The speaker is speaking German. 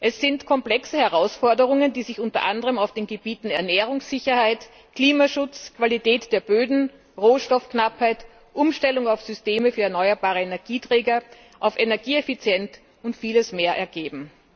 Es sind komplexe Herausforderungen, die sich unter anderem auf den Gebieten Ernährungssicherheit, Klimaschutz, Qualität der Böden, Rohstoffknappheit, Umstellung auf Systeme für erneuerbare Energieträger, auf Energieeffizienz und vieles mehr ergeben.